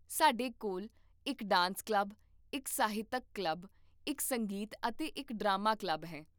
ਸਾਡੇ ਕੋਲ ਇੱਕ ਡਾਂਸ ਕਲੱਬ, ਇੱਕ ਸਾਹਿਤਕ ਕਲੱਬ, ਇੱਕ ਸੰਗੀਤ ਅਤੇ ਇੱਕ ਡਰਾਮਾ ਕਲੱਬ ਹੈ